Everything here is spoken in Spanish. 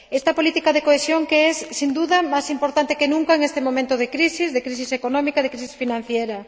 Esta política de cohesión que es, sin duda, más importante que nunca en este momento de crisis, de crisis económica, de crisis financiera.